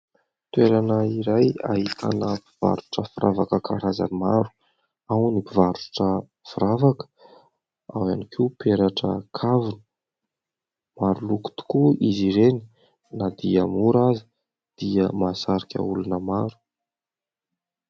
Toerana iray ahitana mpivarotra firavaka karazany maro : ao ny mpivarotra firavaka, ao ihany koa peratra, kavina ; maro loko tokoa izy ireny na dia mora aza dia mahasarika olona maro.